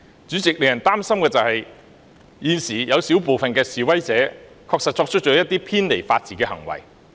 主席，令人擔心的是現時有小部分示威者確實作出了一些偏離法治的行為。